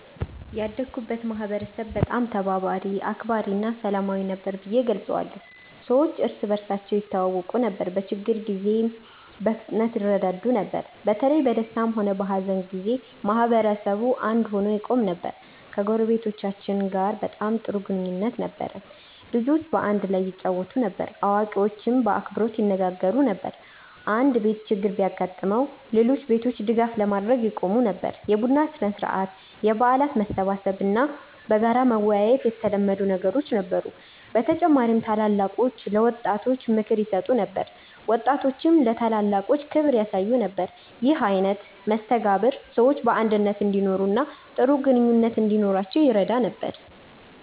ያደግኩበትን ማህበረሰብ በጣም ተባባሪ፣ አክባሪ እና ሰላማዊ ነበር ብዬ እገልጸዋለሁ። ሰዎች እርስ በርሳቸው ይተዋወቁ ነበር፣ በችግር ጊዜም በፍጥነት ይረዳዱ ነበር። በተለይ በደስታም ሆነ በሀዘን ጊዜ ማህበረሰቡ አንድ ሆኖ ይቆም ነበር። ከጎረቤቶቻችን ጋር በጣም ጥሩ ግንኙነት ነበረን። ልጆች በአንድ ላይ ይጫወቱ ነበር፣ አዋቂዎችም በአክብሮት ይነጋገሩ ነበር። አንድ ቤት ችግር ቢያጋጥመው ሌሎች ቤቶች ድጋፍ ለማድረግ ይቀድሙ ነበር። የቡና ሥነ-ሥርዓት፣ የበዓል መሰብሰብ እና በጋራ መወያየት የተለመዱ ነገሮች ነበሩ። በተጨማሪም ታላላቆች ለወጣቶች ምክር ይሰጡ ነበር፣ ወጣቶችም ለታላላቆች ክብር ያሳዩ ነበር። ይህ አይነት መስተጋብር ሰዎች በአንድነት እንዲኖሩ እና ጥሩ ግንኙነት እንዲኖራቸው ይረዳ ነበር።